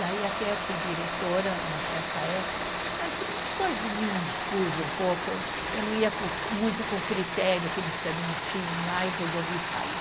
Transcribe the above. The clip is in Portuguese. Daí até eu fui diretora numa certa época, mas depois de mim indispus um pouco, eu não ia muito com o critério que eles também tinham lá e resolvi sair.